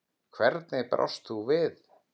Hvernig brást þú við?